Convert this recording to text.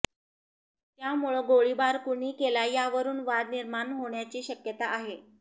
त्यामुळं गोळीबार कुणी केला यावरून वाद निर्माण होण्याची शक्यता आहे